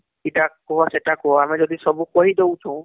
ଇଟା କୁହ ସେଟା କୁହ ଆମେ ଯଦି ସବୁ କହି ଦଉଛୁ